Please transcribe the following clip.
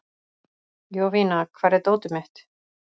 Jovina, hvar er dótið mitt?